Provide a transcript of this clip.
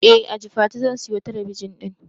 Eh a jifatu zan siyo talabijin din